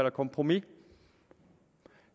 et kompromis